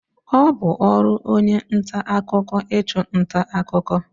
Ọ bu ọrụ onye nta akụkọ ichu nta akụkọ.